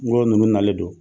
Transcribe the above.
N ko ninnu nalen don